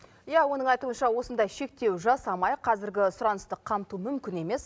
иә оның айтуынша осындай шектеу жасамай қазіргі сұранысты қамту мүмкін емес